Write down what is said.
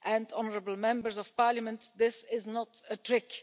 Honourable Members of Parliament, this is not a trick.